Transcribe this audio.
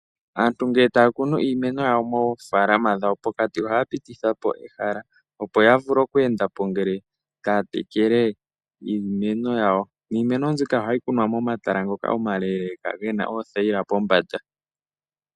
Aantu ngele taakunu iimeno yawo moofaalama dhawo pokati ohaapitithapo ehala opo yavule okweendapo ngele taatekele iimeno yawo. Niimeno mbika ohayikunwa momatala ngoka omaleeleeka ngoka gena oothayila pombanda.